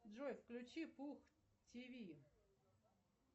джой включи пух тв